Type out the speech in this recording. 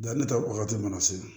Danni ta wagati mana se